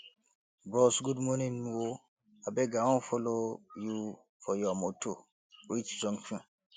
bros good morning o abeg i wan folo you for your motor reach junction